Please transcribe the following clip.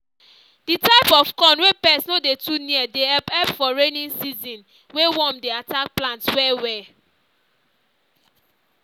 the type of corn wey pest no dey too near dey help help for rainy season wey worm dey attack plants well well